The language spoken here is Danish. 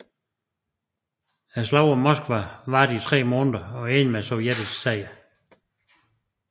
Slaget om Moskva varede i tre måneder og endte med sovjetisk sejr